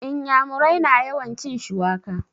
Inyamurai na yawan cin shuwaka